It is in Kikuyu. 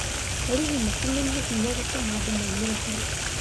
borithi matũmĩrire binya kũtuma andũ maumĩre hau